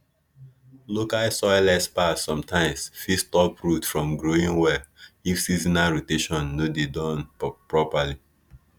local soil experts sometimes fit stop root from growing well if seasonal rotation no dey Accepted properly